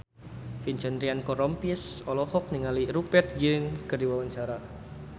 Vincent Ryan Rompies olohok ningali Rupert Grin keur diwawancara